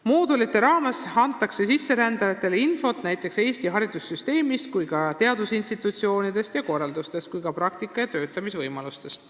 Moodulite abil antakse sisserändajatele infot näiteks Eesti haridussüsteemi, aga ka teadusinstitutsioonide ja korralduste, samuti praktika- ja töötamisvõimaluste kohta.